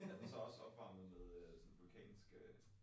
Er den så også opvarmet med sådan vulkansk øh?